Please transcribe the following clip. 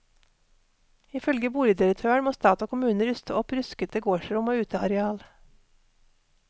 Ifølge boligdirektøren må stat og kommune ruste opp ruskete gårdsrom og uteareal.